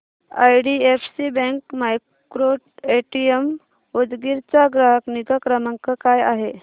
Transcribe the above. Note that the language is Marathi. आयडीएफसी बँक मायक्रोएटीएम उदगीर चा ग्राहक निगा क्रमांक काय आहे सांगा